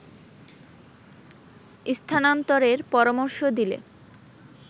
স্থানান্তরের পরামর্শ দিলে